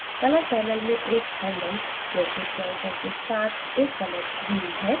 color panel में एक handle जैसे pointer के साथ एक color wheel है